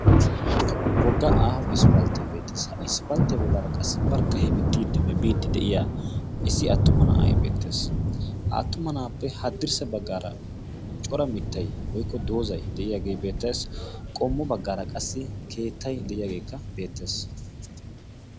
wogga aaho isppalttee beettees. ha isppalttiya bollan qassi barkka hemittiiddinne biiddi de'iya issi attuma na'ay beettees. ha attuma na'aappe haddirssa baggaara cora mittay woykko doozay de'iyaagee beettees. qommo baggaara qassi keettay de'iyaageekka beettees.